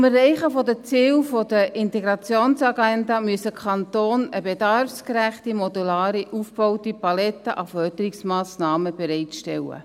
Zum Erreichen der Ziele der Integrationsagenda müssen die Kantone eine bedarfsgerechte, modular aufgebaute Palette an Förderungsmassnahmen bereitstellen.